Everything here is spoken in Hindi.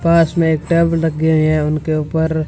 पास में एक टैब लगे हुए हैं उनके ऊपर--